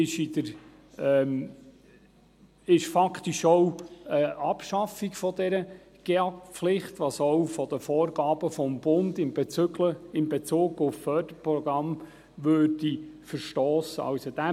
Dies wäre faktisch auch die Abschaffung der GEAK-Pflicht, was auch gegen die Vorgaben des Bundes in Bezug auf Förderprogramme verstossen würde.